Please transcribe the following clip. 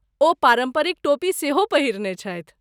ओ पारम्परिक टोपी सेहो पहिरने छथि।